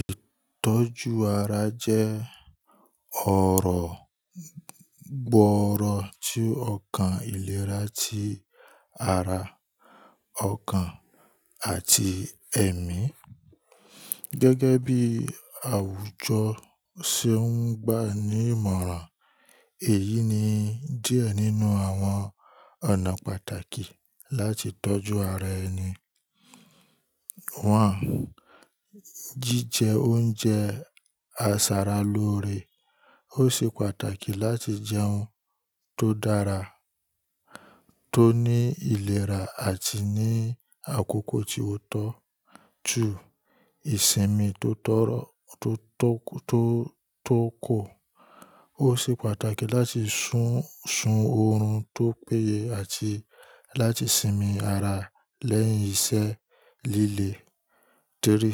Ìtọ́jú ara jẹ́ ọ̀rọ̀ gbọ́ọ̀rọ̀ tí ọkàn ìlera ti ara, ọkàn àti ẹ̀mí. Gẹ́gẹ́ bí àwùjọ ṣe ń gbà ní ìmọ̀ràn, èyí ni díẹ̀ nínú àwọn ọ̀nà pàtàkì láti tọ́jú ara ẹni. Wọ́n jí jẹ oúnjẹ àsára lòorè. Ó ṣe pàtàkì láti jẹun ti o dára, ti ó ní ìlera àti ní àkókò tí ó tọ́. 2. Ìsinmi tó tọ́ro to toku to to ko Ó ṣe pàtàkì láti ṣún ṣun oorun ti ó péye àti láti sinmi ara lẹ́yìn iṣẹ́ líle. 3.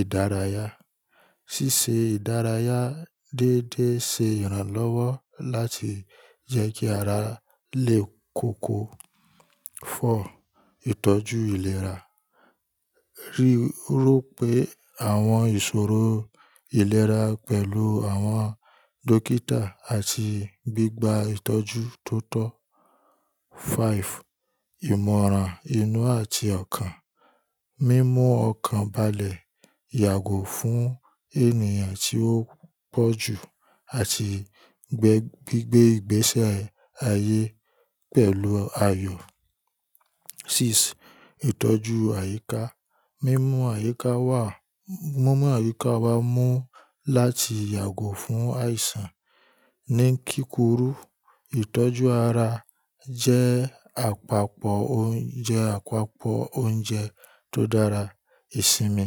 Ìdárayá. Síse ìdárayá déédé ṣe ìrànlọ́wọ́ láti jẹ́ kí ara lè koko. 4. Ìtọ́jú ìlera. Rí ro pé àwọn ìṣòro ìlera pẹ̀lú àwọn dókítà àti gbígba ìtọ́jú tó tọ́. 5. Ìmọ̀ràn inú àti ọkàn. Mímú ọkàn balẹ̀, yàgò fún ènìyàn tí ó pọ̀ jù àti gbé gbígbé ìgbésẹ̀ ayé pẹ̀lú ayọ̀. 6. Ìtọ́jú àyíká. Mímú àyíká wa, mi mu ayika wa mú láti yàgò fún àìsàn ní kíkúrú. Ìtọ́jú ara jẹ́ àpapọ̀ oúnjẹ tó dára, ìsinmi,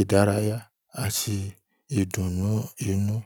ìdárayá àti ìdùnnú inú.